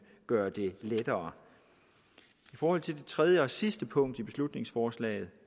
gøre det lettere i forhold til det tredje og sidste punkt i beslutningsforslaget